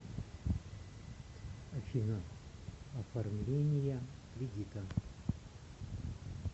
афина оформления кредита